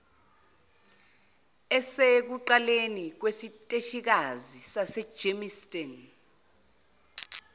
elisekuqaleni kwesiteshikazi sasegermiston